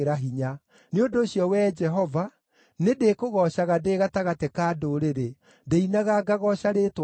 Nĩ ũndũ ũcio, Wee Jehova, nĩndĩkũgoocaga ndĩ gatagatĩ ka ndũrĩrĩ, ndĩinaga ngagooca rĩĩtwa rĩaku.